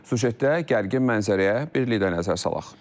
Süjetdə gərgin mənzərəyə bir də nəzər salaq.